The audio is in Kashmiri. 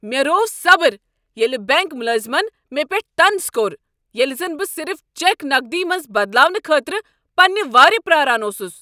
مےٚ روو صبر ییٚلِہ بینک ملٲزمن مےٚ پٮ۪ٹھ طنز کوٚر ییلہ زن بہٕ صرف چیک نقدی منٛز بدلاونہٕ خٲطرٕ پنٛنہ وارِ پرارن اوسس۔